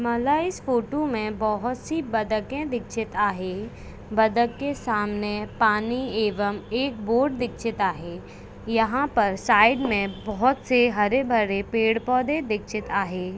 माला इस फोटो मे बहुत सी बदके दीक्षित आहे बदक के सामने पानी एवम् एक बोट दीक्षित आहे यहा पर साइड मे बहुत से हरे-भरे पैड-पौधे दीक्षित आहे.